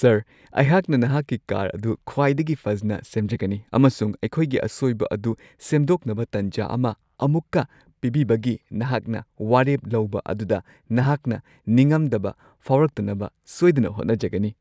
Sir ! ꯑꯩꯍꯥꯛꯅ ꯅꯍꯥꯛꯀꯤ car ꯑꯗꯨ ꯈ꯭ꯋꯥꯏꯗꯒꯤ ꯐꯖꯅ ꯁꯦꯝꯖꯒꯅꯤ ꯑꯃꯁꯨꯡ ꯑꯩꯈꯣꯏꯒꯤ ꯑꯁꯣꯏꯕ ꯑꯗꯨ ꯁꯦꯝꯗꯣꯛꯅꯕ ꯇꯟꯖꯥ ꯑꯃ ꯑꯃꯨꯛꯀ ꯄꯤꯕꯤꯕꯒꯤ ꯅꯍꯥꯛꯅ ꯋꯥꯔꯦꯞ ꯂꯧꯕ ꯑꯗꯨꯗ ꯅꯍꯥꯛꯅ ꯅꯤꯡꯉꯝꯗꯕ ꯐꯥꯎꯔꯛꯇꯅꯕ ꯁꯣꯏꯗꯅ ꯍꯣꯠꯅꯖꯒꯅꯤ꯫ (ꯒꯥꯔꯤ ꯁꯦꯝꯕ ꯃꯤꯑꯣꯏ)